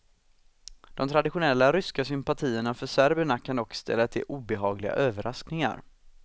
De traditionella ryska sympatierna för serberna kan dock ställa till obehagliga överraskningar.